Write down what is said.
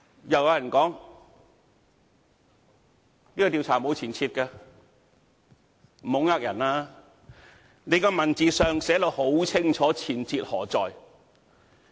亦有人說，這個調查沒有前設，不要欺騙人了，文字上已清楚寫出前設何在。